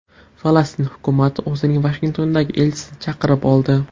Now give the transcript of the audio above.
Falastin hukumati o‘zining Vashingtondagi elchisini chaqirib oldi.